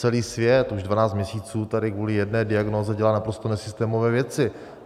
Celý svět už 12 měsíců tady kvůli jedné diagnóze dělá naprosto nesystémové věci.